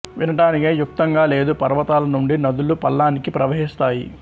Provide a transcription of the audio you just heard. వినటానికే యుక్తంగా లేదు పర్వతాల నుండి నదులు పల్లానికి ప్రవహిస్తాయి